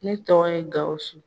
Ne tɔgɔ ye Gawusu.